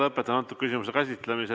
Lõpetan selle küsimuse käsitlemise.